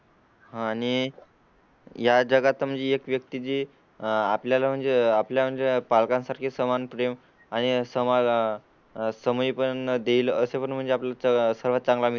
हां आणि या जगात म्हणजे एक व्यक्ती जी आपल्या ला म्हणजे आपल्या पालकां सारखे समान प्रेम आणि समाजा समय पण देईल असे पण म्हणजे आपला सर्वात चांगला